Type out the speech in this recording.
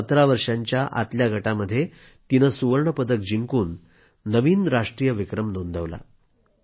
17 वर्षाच्या आतल्या गटामध्ये तिनं सुवर्ण पदक जिंकून नवीन राष्ट्रीय विक्रम नोंदवला